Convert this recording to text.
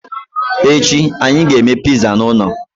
Echi, anyị ga-eme pizza n'ụlọ.